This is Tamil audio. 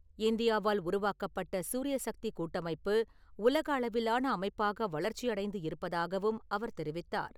இந்தியாவால் உருவாக்கப்பட்ட சூரியசக்திக் கூட்டமைப்பு, உலக அளவிலான அமைப்பாக வளர்ச்சி அடைந்து இருப்பதாகவும் அவர் தெரிவித்தார்.